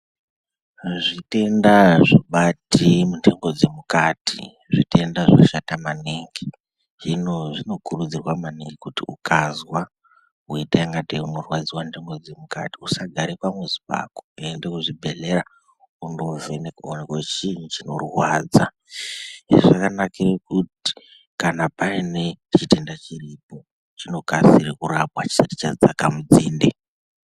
Zvitenda zvinobate muntengo dzemukati zvitenga zvinoshata maningi hino zvinokurudzirwa maningi kuti ukazwa weita kungatei unorwadziwa ntengo dzemukati usagara pamuzi pako, enda kuzvibhedhlera wovhenekwa uoneke kuti chinyi chinorwadza. Izvi zvinodetsera kuti kana Paine chitenda chiripo chinokasire kurapwa chisati chadzaka munzinde.